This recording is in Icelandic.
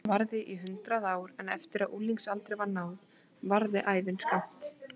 Barnæskan varði í hundrað ár en eftir að unglingsaldri var náð varði ævin skammt.